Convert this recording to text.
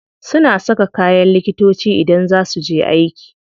Suna saka kayan likitoci idan za su je aiki.